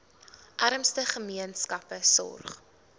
armste gemeenskappe sorg